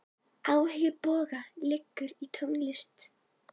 Áhugi Boga liggur í tónlist.